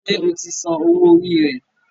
Ṣe o tí Sàn owo orí rẹ?